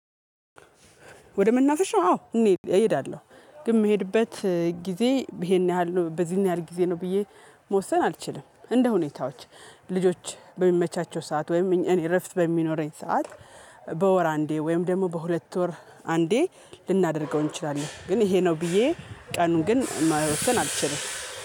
ወደ መናፍሻው አዎ እሄዳለሁ ግን የምሄድበት ጊዜ ይሄን ያህል በዚህን ያህል ጊዜ ነው ብዬ መወሰን አልችልም። እንደ ሁኔታዎች ልጆች በሚመቻቸው ሰዓት ወይም እኔ እረፍት በሚኖረኝ ሰዓት። በወር አንዴ ወይም ደግሞ በሁለት ወር አንዴ ልናደርገው እንችላለን። ግን ይሄ ነው ብዬ ቀኑን ግን መወሰን አልችልም